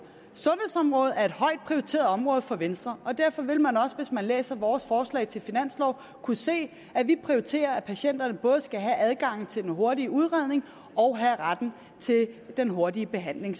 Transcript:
sundhedsområdet er et højt prioriteret område for venstre og derfor vil man også hvis man læser vores forslag til finanslov kunne se at vi prioriterer at patienterne samtidig både skal have adgangen til den hurtige udredning og retten til den hurtige behandling